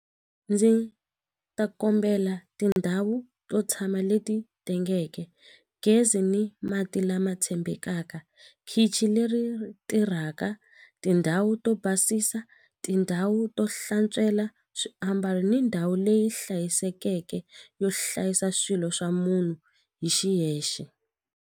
Ndzi ta kombela tindhawu to tshama leti tengeke gezi ni mati lama tshembekaka khichi leri tirhaka tindhawu to basisa tindhawu to hlantswela swiambalo ni ndhawu leyi hlayisekeke yo hlayisa swilo swa munhu hi xiyexe.